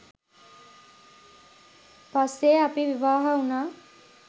පස්සේ අපි විවාහ වුණා.